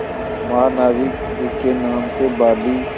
महानाविक जिसके नाम से बाली